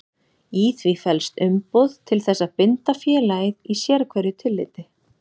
Í því felst umboð til þess að binda félagið í sérhverju tilliti.